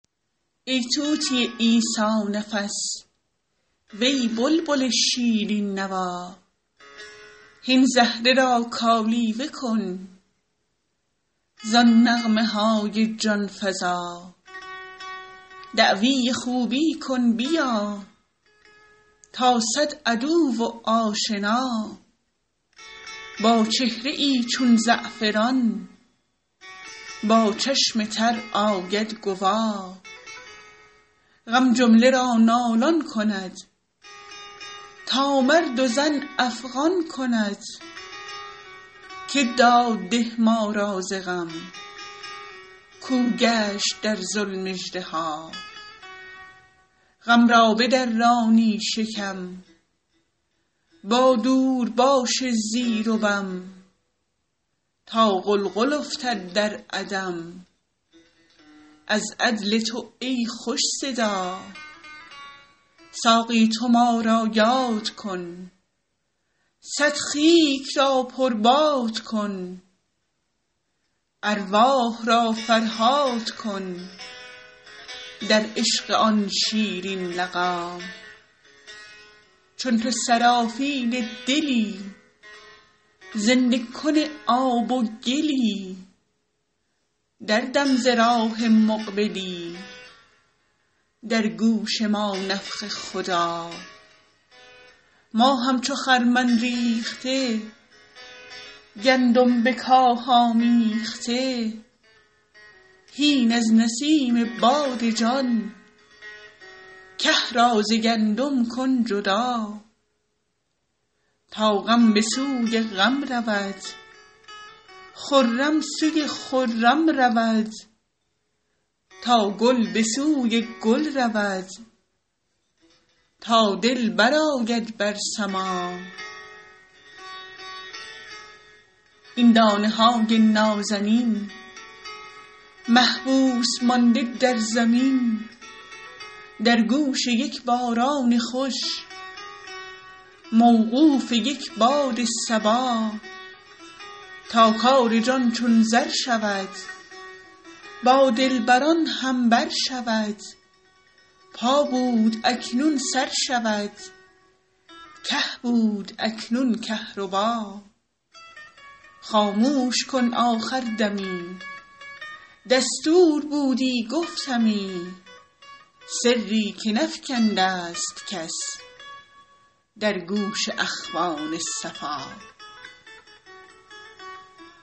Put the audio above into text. ای طوطی عیسی نفس وی بلبل شیرین نوا هین زهره را کالیوه کن زان نغمه های جان فزا دعوی خوبی کن بیا تا صد عدو و آشنا با چهره ای چون زعفران با چشم تر آید گوا غم جمله را نالان کند تا مرد و زن افغان کند که داد ده ما را ز غم کاو گشت در ظلم اژدها غم را بدرانی شکم با دورباش زیر و بم تا غلغل افتد در عدم از عدل تو ای خوش صدا ساقی تو ما را یاد کن صد خیک را پرباد کن ارواح را فرهاد کن در عشق آن شیرین لقا چون تو سرافیل دلی زنده کن آب و گلی دردم ز راه مقبلی در گوش ما نفخه خدا ما همچو خرمن ریخته گندم به کاه آمیخته هین از نسیم باد جان که را ز گندم کن جدا تا غم به سوی غم رود خرم سوی خرم رود تا گل به سوی گل رود تا دل برآید بر سما این دانه های نازنین محبوس مانده در زمین در گوش یک باران خوش موقوف یک باد صبا تا کار جان چون زر شود با دلبران هم بر شود پا بود اکنون سر شود که بود اکنون کهربا خاموش کن آخر دمی دستور بودی گفتمی سری که نفکنده ست کس در گوش اخوان صفا